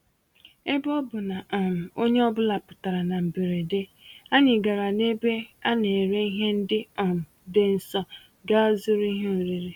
Ebe ọ bụ na um onye ọ bụla pụtara na mberede, anyị gàrà n'ebe a nere ihe ndị um dị nso gaa zụrụ ihe oriri